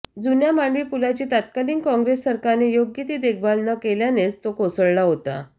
जुन्या मांडवी पुलाची तत्कालीन काँग्रेस सरकारने योग्य ती देखभाल न केल्यानेच तो कोसळला होता